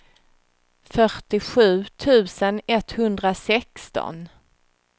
fyrtiosju tusen etthundrasexton